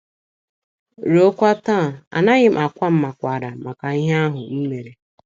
Ruokwa taa, anaghị m akwa mmakwaara maka ihe ahụ m mere.